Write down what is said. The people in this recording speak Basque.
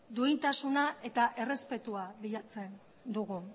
duintasuna eta errespetua bilatzen dugu